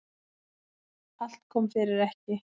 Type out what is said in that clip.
Allt kom fyrir ekki.